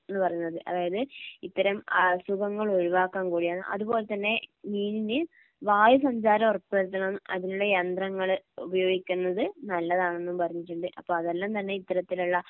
എന്നു പറയുന്നത് അതായത് ഇത്തരം അസുഖങ്ങൾ ഒഴിവാക്കാൻ കൂടിയാണ് അതുപോലെതന്നെ മീനിന് വായുസഞ്ചാരം ഉറപ്പുവരുത്തണം അതിനുള്ള യന്ത്രങ്ങള് ഉപയോഗിക്കുന്നത് നല്ലതാണെന്നും പറഞ്ഞിട്ടുണ്ട്. അപ്പോ അതെല്ലാം തന്നെ ഇത്തരത്തിലുള്ള